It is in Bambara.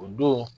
O don